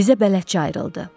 Bizə bələdçi ayrıldı.